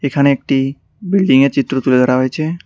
এখানে একটি বিল্ডিং -এর চিত্র তুলে ধরা হয়েছে।